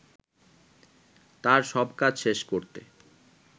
তার সব কাজ শেষ করতে